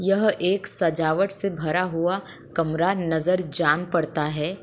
यह एक सजावट से भरा हुआ कमरा नज़र जान पड़ता है।